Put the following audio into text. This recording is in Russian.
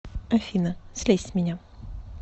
афина слезь с меня